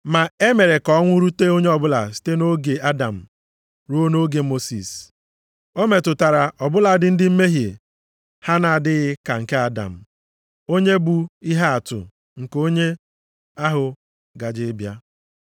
Ma e mere ka ọnwụ rute onye ọbụla site nʼoge Adam ruo nʼoge Mosis. O metụtara ọ bụladị ndị mmehie ha na-adịghị ka nke Adam, onye bụ ihe atụ nke onye ahụ gaje ịbịa.